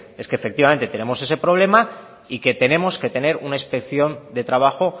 es que efectivamente tenemos ese problema y que tenemos que tener una inspección de trabajo